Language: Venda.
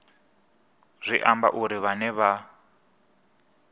zwi amba uri vhane vha